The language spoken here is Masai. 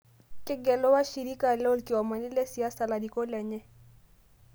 Kegelu washirika lolkiomani le siasa larikok lenye